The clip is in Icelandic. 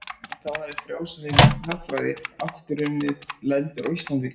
En þá hafði frjálslynd hagfræði aftur unnið lendur á Íslandi.